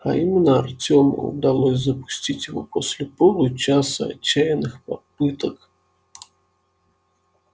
а именно артёму удалось запустить его после получаса отчаянных попыток